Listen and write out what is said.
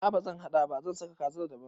A'a bazan haɗa ba, zan saka kazar daban